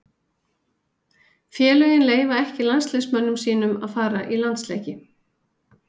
Félögin leyfa ekki landsliðsmönnum sínum að fara í landsleiki.